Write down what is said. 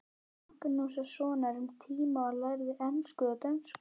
Magnússonar um tíma og lærðu ensku og dönsku.